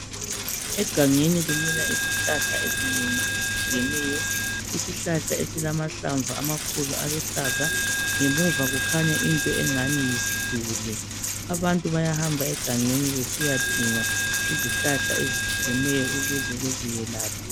Egangeni kumila izihlahla ezinengi ezitshiyeneyo, isihlahla esilamahlamvu amakhulu aluhlaza ngemuva kukhanya into engani yisiduli, abantu bayahamba egangeni besiyadinga izihlahla ezitshiyeneyo ukuze beziyelaphe.